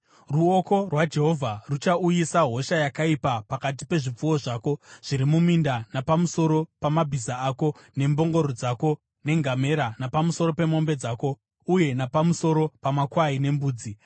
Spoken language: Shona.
ruoko rwaJehovha ruchauyisa hosha yakaipa pakati pezvipfuwo zvako zviri muminda napamusoro pamabhiza ako nembongoro dzako nengamera napamusoro pemombe dzako uye napamusoro pamakwai nembudzi.